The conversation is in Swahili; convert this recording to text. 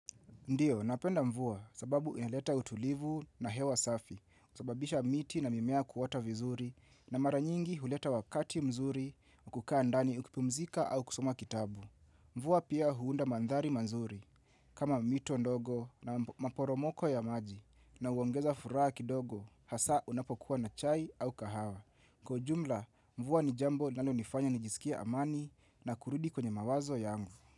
Ndio, napenda mvua sababu inaeleta utulivu na hewa safi, husababisha miti na mimea kuota vizuri, na mara nyingi huleta wakati mzuri, kukaa ndani ukipumzika au kusoma kitabu. Mvua pia huunda mandhari mazuri, kama mito ndogo na maporomoko ya maji, na huongeza furaha kidogo, haswa unapokuwa na chai au kahawa. Kwa ujumla, mvua ni jambo linalonifanya nijisikie amani, na kurudi kwenye mawazo yangu.